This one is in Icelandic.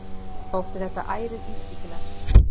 Þótti þetta ærið ískyggilegt.